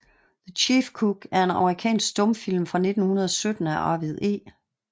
The Chief Cook er en amerikansk stumfilm fra 1917 af Arvid E